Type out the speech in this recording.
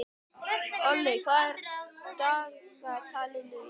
Olli, hvað er í dagatalinu í dag?